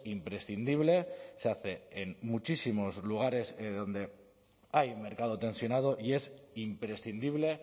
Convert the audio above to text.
imprescindible se hace en muchísimos lugares donde hay un mercado tensionado y es imprescindible